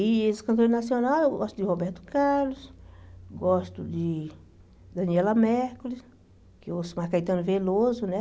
E esse cantor nacional, eu gosto de Roberto Carlos, gosto de Daniela Mercury, que eu ouço mais Caetano Veloso, né?